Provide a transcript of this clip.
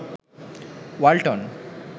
Walton